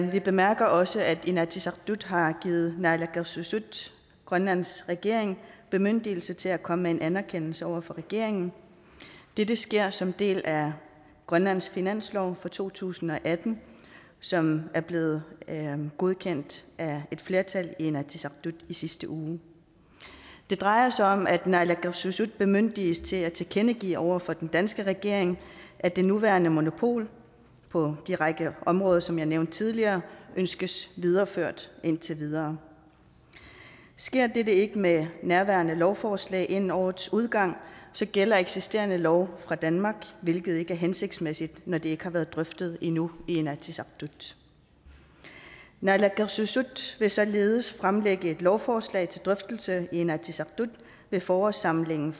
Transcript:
vi bemærker også at inatsisartut har givet naalakkersuisut grønlands regering bemyndigelse til at komme med en anerkendelse over for regeringen dette sker som en del af grønlands finanslov for to tusind og atten som er blevet godkendt af et flertal i inatsisartut i sidste uge det drejer sig om at naalakkersuisut bemyndiges til at tilkendegive over for den danske regering at det nuværende monopol på den række områder som jeg nævnte tidligere ønskes videreført indtil videre sker dette ikke med nærværende lovforslag inden årets udgang gælder eksisterende lov fra danmark hvilket ikke er hensigtsmæssigt når det ikke har været drøftet endnu i inatsisartut naalakkersuisut vil således fremlægge et lovforslag til drøftelse i inatsisartut ved forårssamlingen